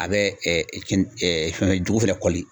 A bɛ kin fɛn jugu fɛnɛ kɔli.